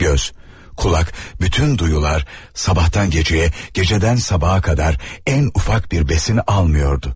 Göz, kulak, bütün duyular sabahtan geceye, geceden sabaha kadar en ufak bir besin almıyordu.